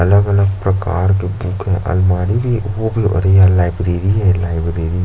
अलग - अलग प्रकर के बुक है अलमारी भी वो भी अरे यार लाइब्रेरी है लाइब्रेरी --